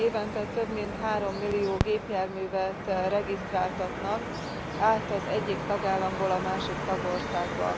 Igen, évente több mint 3 millió gépjárművet regisztráltatnak át az egyik tagállamból a másik tagországba.